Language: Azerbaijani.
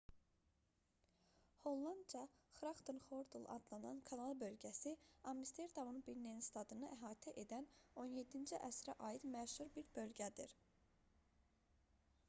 hollandca grachtengordel adlanan kanal bölgəsi amsterdamın binnenstadını əhatə edən 17-ci əsrə aid məşhur bir bölgədir